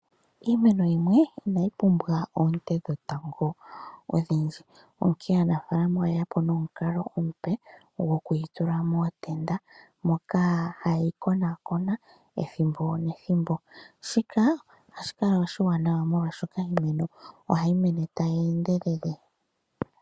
Iimeno yimwe inayi pumbwa oonte dhetango odhindji. Onkene aanafaalama oyeyapo nomukalo omupe goku yitula mootenda moka haye yikonakona ethimbo nethimbo. Shika ohashi kala oshiwanawa, oshoka iimeno ohayi mene tayi endelele.